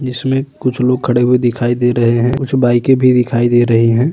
जिसमें कुछ लोग खड़े हुए दिखाई दे रहे है। कुछ बाइके भी दिखाई दे रही है।